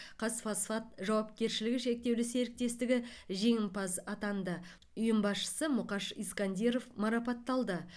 қазфосфат жауапкершілігі шектеулі серіктестігі жеңімпаз атанды ұйым басшысы мұқаш искандиров марапатталды